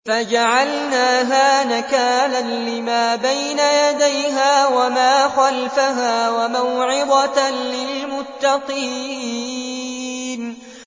فَجَعَلْنَاهَا نَكَالًا لِّمَا بَيْنَ يَدَيْهَا وَمَا خَلْفَهَا وَمَوْعِظَةً لِّلْمُتَّقِينَ